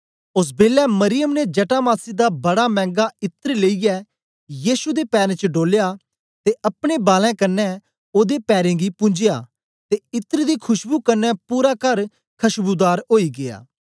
ओस बेलै मरियम ने जटामासी दा बड़ा मैंगा इत्र लेईयै यीशु दे पैरें च ढोल्या ते अपने बालैं कन्ने ओदे पैरें गी पुन्जया ते इत्र दी खुशबु कन्ने पूरा कर खशबूदार ओई गीया